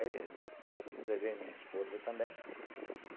Aí levei minha esposa também.